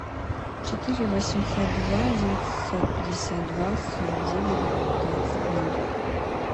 четыре восемьсот два девятьсот пятьдесят два сорок девять двадцать ноль